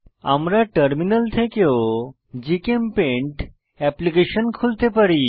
আমরা টার্মিনাল থেকেও GChemPaint application খুলতে পারি